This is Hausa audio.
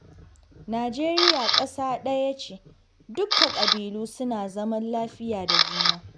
Najeriya ƙasa ɗaya ce, dukka ƙabilu suna zaman lafiya da juna